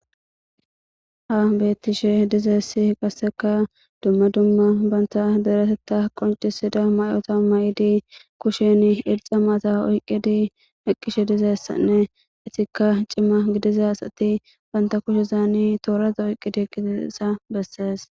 Ha bettishe dizeessi qasseka dumma dumma bantha deretetta qoncisida may'ota may'idi kushen ilxa maata oyqqidi eqqishe dizessanne itikka cimma gidiza asati banta kushe zaani tooraza oyqqidi gidisa bessees